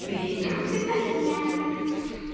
тринадцатоее